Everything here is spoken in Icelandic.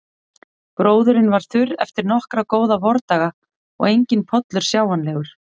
Gróðurinn var þurr eftir nokkra góða vordaga og enginn pollur sjáanlegur.